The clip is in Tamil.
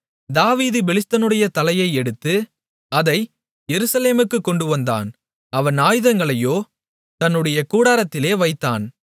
தாவீது பெலிஸ்தனுடைய தலையை எடுத்து அதை எருசலேமுக்குக் கொண்டு வந்தான் அவன் ஆயுதங்களையோ தன்னுடைய கூடாரத்திலே வைத்தான்